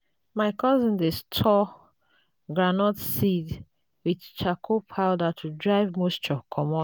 my cousin dey store groundnut seeds with charcoal powder to drive moisture comot.